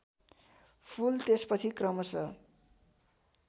फुल त्यसपछि क्रमश